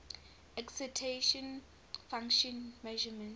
excitation function measurements